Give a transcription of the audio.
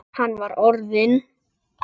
Hann var orðinn.